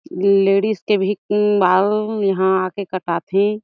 Ladies के भी म्म बाल यहाँ आ के कटा थे।